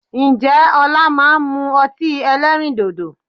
Ǹjẹ́ ọlá máa ń mú ọtí ẹlẹ́rìndòdò?